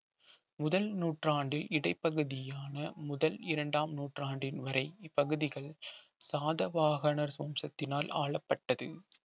முதல் நூற்றாண்டின் இடைப்பகுதியான முதல் இரண்டாம் நூற்றாண்டின் வரை இப்பகுதிகள் சாத வாகனர் வம்சத்தினால் ஆளப்பட்டது